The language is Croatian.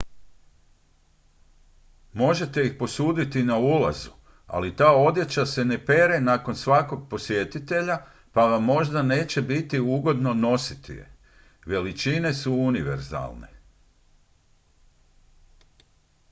možete ih posuditi na ulazu ali ta odjeća se ne pere nakon svakog posjetitelja pa vam možda neće biti ugodno nositi je veličine su univerzalne